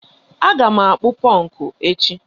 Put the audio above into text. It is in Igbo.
Aga m akpụ ponku echi.